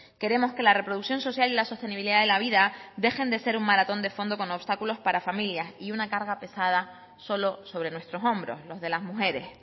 queremos que la reproducción social y la sostenibilidad de la vida dejen de ser un maratón de fondo con obstáculos para familias y una carga pesada solo sobre nuestros hombros los de las mujeres